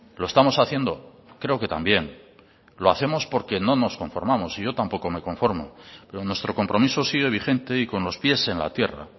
lo estamos haciendo creo que también lo hacemos porque no nos conformamos y yo tampoco me conformo pero nuestro compromiso sigue vigente y con los pies en la tierra